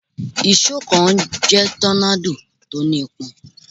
Ìṣó kan ń jẹ́ tọ́nádò, ó ní ipọn.